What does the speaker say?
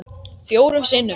Fjórum sinnum